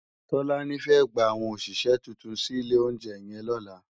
Tolani fè gbá áwòn óṣiṣè tútún si ilé óunjè yèn lòlá